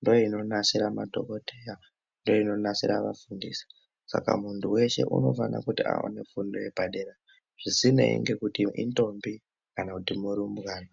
ndo ino nasira madhokodheya ndo ino nasira va fundisi saka muntu weshe unofana kuti aone fundo yepa dera zvisinei ngekuti indombi kana kuti murumbwana.